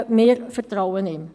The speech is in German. wir vertrauen ihm.